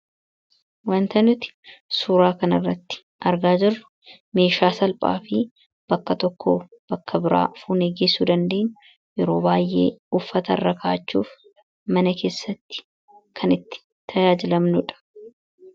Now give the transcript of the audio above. Wanti nuti suuraa kanarratti argaa jirru meeshaa salphaa fi bakka tokkoo bakka biraa fuunee geessuu dandeenyu, yeroo baay'ee uffata irra kaawwachuuf mana keessatti kan itti tajaajilamnuudha.